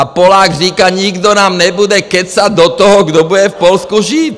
A Polák říká: Nikdo nám nebude kecat do toho, kdo bude v Polsku žít!.